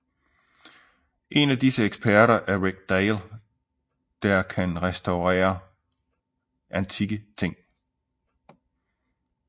En af disse eksperter er Rick Dale der kan restaurerer antikke ting